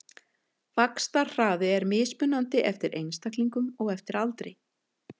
Vaxtarhraði er mismunandi eftir einstaklingum og eftir aldri.